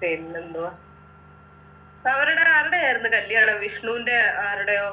പിന്നെന്തുവാ അവരുടെ ആരുടെ ആയിരുന്നു കല്യാണം വിഷ്ണുൻ്റെ ആരുടെയോ